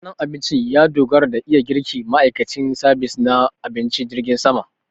Ɗandanon abincin ya dogara da iya girkin ma'aikacin sabis na abinci na jirgin sama